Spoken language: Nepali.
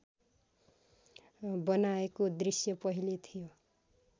बनाएको दृश्य पहिले थियो